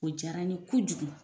O jara n ye kojugu.